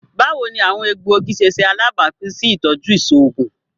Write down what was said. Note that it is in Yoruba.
Bawo ni awọn egboogi ṣe ṣe alabapin si itọju iṣoogun?